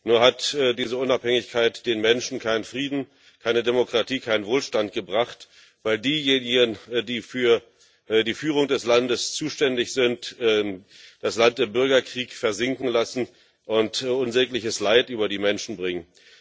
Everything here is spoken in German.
Nur hat diese Unabhängigkeit den Menschen keinen Frieden, keine Demokratie, keinen Wohlstand gebracht, weil diejenigen, die für die Führung des Landes zuständig sind, das Land im Bürgerkrieg versinken lassen und unsägliches Leid über die Menschen bringen.